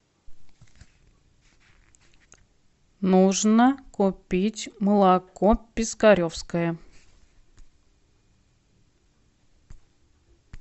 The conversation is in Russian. нужно купить молоко пискаревское